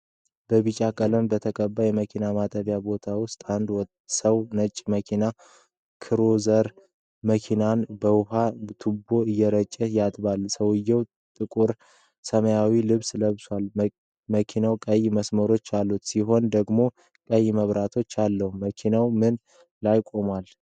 በቢጫ ቀለም በተቀባ የመኪና ማጠቢያ ቦታ ውስጥ አንድ ሰው ነጭ የመሬት ክሩዘር መኪናን በውሃ ቱቦ እየረጨ ያጥባል። ሰውየው ጥቁር ሰማያዊ ልብስ ለብሷል። መኪናው ቀይ መስመሮች ያሉት ሲሆን ደግሞ ቀይ መብራት አለው። መኪናው ምን ላይ ቆሟል?